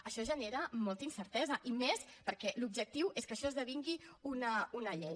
això genera molta incertesa i més perquè l’objectiu és que això esdevingui una llei